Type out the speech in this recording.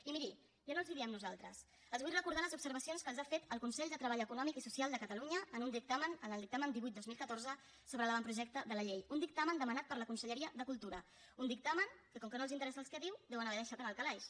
i miri ja no els ho diem nosaltres els vull recordar les observacions que els ha fet el consell de treball econòmic i social de catalunya en un dictamen en el dictamen divuit dos mil catorze sobre l’avantprojecte de llei un dictamen demanat per la conselleria de cultura un dictamen que com que no els interessa el que diu deuen haver deixat en el calaix